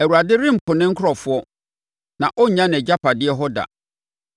Awurade rempo ne nkurɔfoɔ; na ɔrennya nʼagyapadeɛ hɔ da.